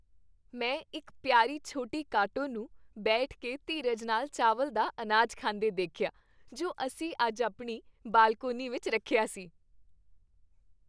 ਮੈਂ ਇੱਕ ਪਿਆਰੀ ਛੋਟੀ ਕਾਟੋ ਨੂੰ ਬੈਠ ਕੇ ਧੀਰਜ ਨਾਲ ਚਾਵਲ ਦਾ ਅਨਾਜ ਖਾਂਦੇ ਦੇਖਿਆ ਜੋ ਅਸੀਂ ਅੱਜ ਆਪਣੀ ਬਾਲਕੋਨੀ ਵਿੱਚ ਰੱਖਿਆ ਸੀ।